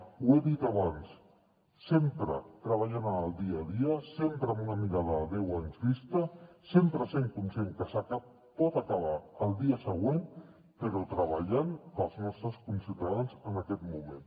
ho he dit abans sempre treballant en el dia a dia sempre amb una mirada a deu anys vista sempre sent conscients que pot acabar el dia següent però treballant pels nostres conciutadans en aquest moment